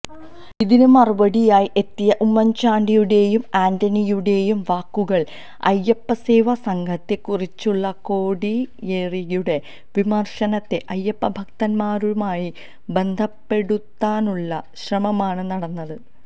ഇതിന് മറുപടിയുമായി എത്തിയ ഉമ്മൻചാണ്ടിയുടെയും ആന്റണിയുടെയും വാക്കുകളില് അയ്യപ്പസേവാ സംഘത്തെ കുറിച്ചുളള കോടിയേരിയുടെ വിമർശനത്തെ അയ്യപ്പഭക്തന്മാരുമായി ബന്ധപ്പെടുത്താനുളള ശ്രമമാണ് നടന്നത്